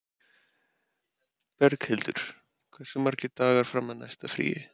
Berghildur, hversu margir dagar fram að næsta fríi?